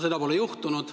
Seda pole juhtunud.